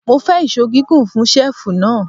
Mo fẹ́ ìṣó gígùn fún ṣẹ́ẹ̀fù náà.